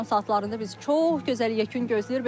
Axşam saatlarında biz çox gözəl yekun gözləyir.